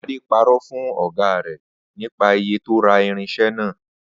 Adé paró̩ fún ò̩gá rè̩ nípa iye tó ra irins̩e̩ náà